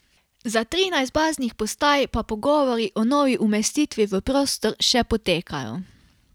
Za trinajst baznih postaj pa pogovori o novi umestitvi v prostor še potekajo.